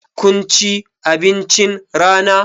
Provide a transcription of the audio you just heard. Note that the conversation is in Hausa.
Kun ci abincin rana?